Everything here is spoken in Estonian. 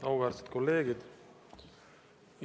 Auväärsed kolleegid!